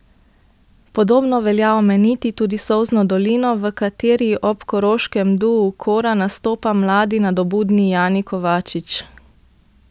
Podobno velja omeniti tudi Solzno dolino, v kateri ob koroškem duu Kora nastopa mladi nadobudni Jani Kovačič.